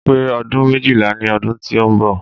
Máa pè ọdún méjìlá ní ọdún tí ó ń bọ̀